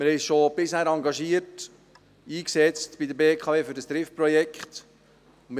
Wir haben uns bisher schon engagiert und uns bei der BKW für das Trift-Projekt eingesetzt.